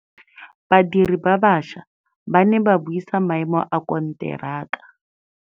Badiri ba baša ba ne ba buisa maêmô a konteraka.